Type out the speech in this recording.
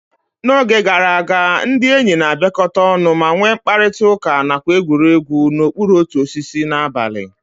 Na oge gara aga, ndị enyi na-abịakọta ọnụ ma nwee mkparịta ụka nakwa egwuregwu n'okpuru otu osisi n'abalị.